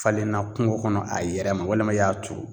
Falenna kungo kɔnɔ a yɛrɛ ma walima i y'a turu